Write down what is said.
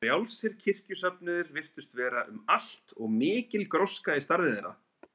Frjálsir kirkjusöfnuðir virtust vera um allt og mikil gróska í starfi þeirra.